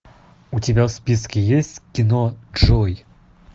у тебя в списке есть кино джой